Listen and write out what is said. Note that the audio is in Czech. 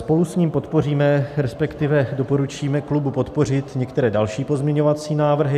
Spolu s ním podpoříme, respektive doporučíme klubu podpořit některé další pozměňovací návrhy.